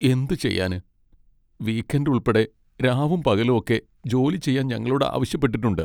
എന്തു ചെയ്യാന്, weekend ഉൾപ്പെടെ രാവും പകലും ഒക്കെ ജോലി ചെയ്യാൻ ഞങ്ങളോട് ആവശ്യപ്പെട്ടിട്ടുണ്ട്.